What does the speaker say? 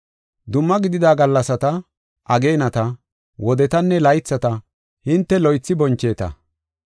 Dumma gidida gallasata, ageenata, wodetanne laythata hinte loythi boncheta.